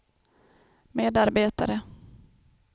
medarbetare